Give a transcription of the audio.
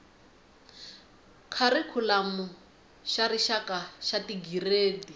kharikhulamu xa rixaka xa tigiredi